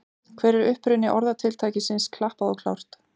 Hver er uppruni orðatiltækisins klappað og klárt?